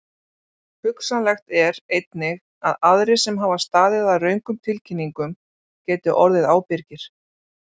Hugsanlegt er einnig að aðrir sem hafa staðið að röngum tilkynningum geti orðið ábyrgir.